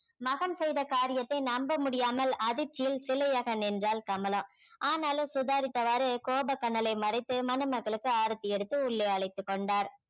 மகன் செய்த காரியத்தை நம்ப முடியாமல் அதிர்ச்சியில் சிலையாக நின்றாள் கமலா ஆனாலும் சுதாரித்தவாறு கோபக் கனலை மறைத்து மணமக்களுக்கு ஆரத்தி எடுத்து உள்ளே அழைத்துக் கொண்டார்